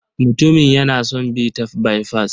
Mutumin yana son bin ta baifas.